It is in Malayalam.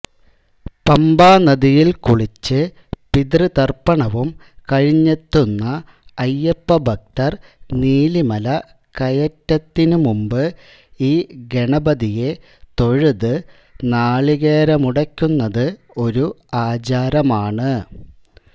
പമ്പാനദിയിൽ കുളിച്ച് പിതൃതർപ്പണവും കഴിഞ്ഞെത്തുന്ന അയ്യപ്പഭക്തർ നീലിമല കയറ്റത്തിനുമുമ്പ് ഈ ഗണപതിയെ തൊഴുത് നാളികേരമുടയ്ക്കുന്നത് ഒരു ആചാരമാണ്